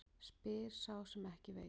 Spyr sá sem ekki veit.